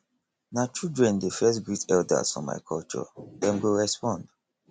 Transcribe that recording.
na children dey first greet eldas for my culture dem go respond